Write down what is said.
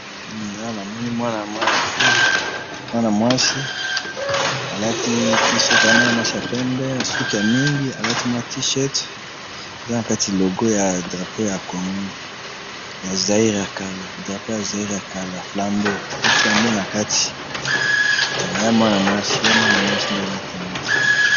Hum! Awa namoni mwana mwana fille, mwana mwasi alati tee-chirt, aamwana mwasi yapembe suki ya mingi, alati mwa tee-chirt eza nakati logo ya drapeau ya congo, ya Zaire yakala drapeau ya Zaire yakala, flambo pe flambo nakati, eya mwana mwasi, eya mwana mwasi nde alati yango.